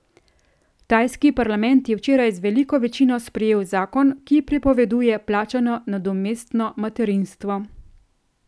Tajski parlament je včeraj z veliko večino sprejel zakon, ki prepoveduje plačano nadomestno materinstvo.